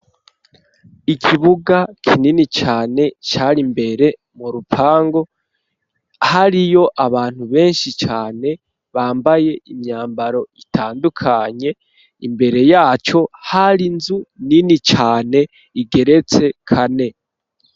Ikibuga kinini cane, cari imbere mu rupangu, hariyo abantu, benshi cane, bambaye imyambaro, itandukanye; imbere yaco, hari inzu, nini cane, igeretse kane.